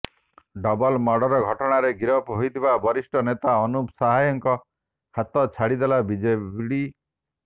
double murder ଘଟଣାରେ ଗିରଫ ହୋଇଥିବା ବରିଷ୍ଠ ନେତା ଅନୁପ ସାଏଙ୍କ ହାତ ଛାଡ଼ିଦେଲା ବିଜେଡି